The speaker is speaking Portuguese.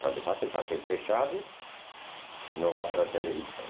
Quando fazem, fazem fechado, não vão para a televisão.